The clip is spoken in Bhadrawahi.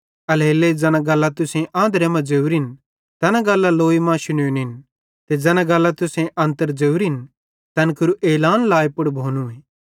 एल्हेरेलेइ ज़ैना गल्लां तुसेईं आंधरे मां ज़ोरिन तैना गल्लां लौइ मां शुनोनिन ते ज़ैना गल्लां तुसेईं अन्तर ज़ोरिन तैन केरू एलान लाए पुड़ भोनूए